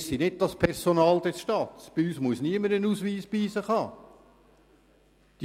Wir sind nicht das Personal des Staates, und bei uns muss niemand einen Ausweis mit sich tragen.